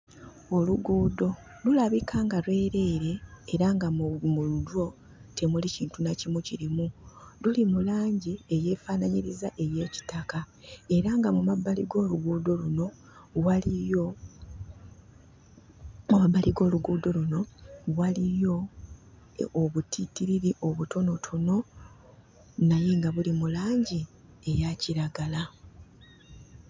Oluguudo lulabika nga lwereere era nga mu mu lwo temuli kintu na kimu kirimu. Luli mu langi eyeefanaanyiriza ey'ekitaka era nga mu mabbali g'oluguudo luno waliyo, mu mabbali g'oluguudo luno waliyo obutiitiriri obutonotono naye nga buli mu langi eya kiragala.